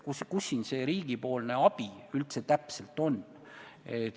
Kus siin see riigipoolne abi täpselt on?